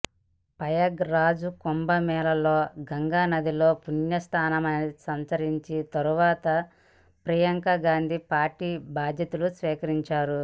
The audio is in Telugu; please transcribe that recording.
ప్రయాగ్ రాజ్ కుంభమేళాలో గంగానదిలో పుణ్యస్నానమాచరించిన తర్వాత ప్రియాంకగాంధీ పార్టీ బాధ్యతలు స్వీకరిస్తారు